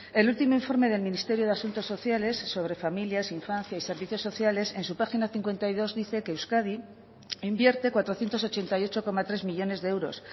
el último informe del ministerio de asuntos sociales sobre familias infancia y servicios sociales en su página cincuenta y dos dice que euskadi invierte cuatrocientos ochenta y ocho coma tres millónes de euros